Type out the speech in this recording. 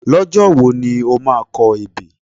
Lọ́jọ́ wo ni o máa kọ ebè?